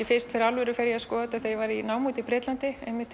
fyrst fyrir alvöru að skoða þetta þegar ég var í námi úti í Bretlandi